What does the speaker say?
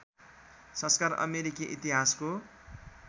संस्कार अमेरिकी इतिहासको